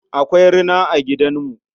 Akwai rina a gidamu.